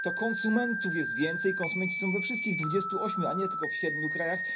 To konsumentów jest więcej, konsumenci są we wszystkich 28, a nie tylko w 7 krajach.